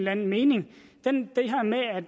anden mening